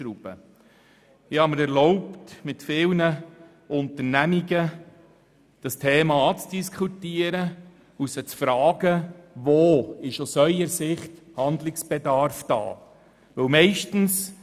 Ich habe mir erlaubt, dieses Thema mit vielen Unternehmungen anzudiskutieren und sie zu fragen, wo sie den Handlungsbedarf aus ihrer Sicht sehen.